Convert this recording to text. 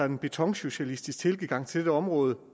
en betonsocialistisk tilgang til området